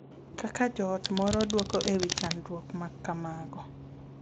Kaka joot moro dwoko e wi chandruok ma kamago .